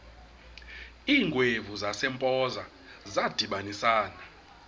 iingwevu zasempoza zadibanisana